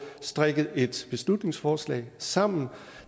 strikket et beslutningsforslag sammen